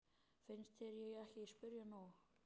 Finnst þér ég ekki spyrja nóg?